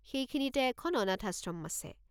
সেইখিনিতে এখন অনাথাশ্রম আছে।